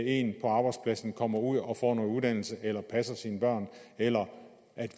en på arbejdspladsen kommer ud og får noget uddannelse eller passer sine børn eller